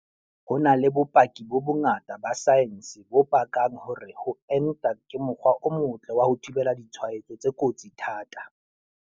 Ho na le bopaki bo bongata ba saense bo pakang hore ho enta ke mokgwa o motle wa ho thibela ditshwaetso tse kotsi thata.